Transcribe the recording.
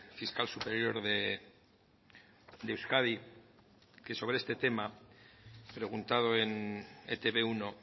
fiscal superior de euskadi que sobre este tema preguntado en e te be uno